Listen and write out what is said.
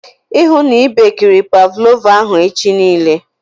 Ịhụ na i bekiri pavlova ahụ echi nille